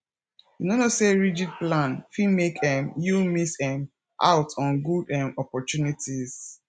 you no know sey rigid plan fit make um you miss um out on good um opportunities